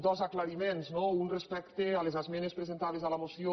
dos aclariments no un respecte a les esmenes presentades a la moció